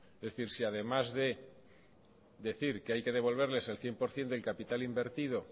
es decir si además de decir que hay que devolverles el cien por ciento del capital invertido